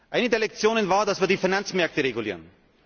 Eine der Lektionen war, dass wir die Finanzmärkte regulieren.